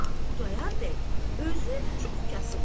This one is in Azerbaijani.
Xudayar bəy özü çox kasıbdır.